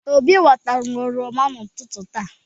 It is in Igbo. Obi ghọtara m oroma n'ụtụtụ taa.